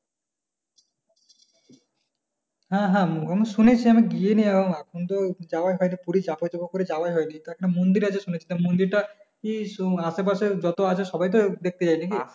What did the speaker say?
হ্যাঁ হ্যাঁ আমি শুনেছি আমি গিয়েনি এখনও এখন তো যাওয়াই হয়নি পুরি যাবো যাবো করে যাওয়াই হয়নি ওখানে একটা মন্দির আছে শুনেছিলাম মন্দির টা কি আসে পাশে যারা আছে সবাই তো দেখতে যায় নাকি?